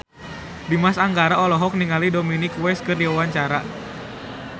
Dimas Anggara olohok ningali Dominic West keur diwawancara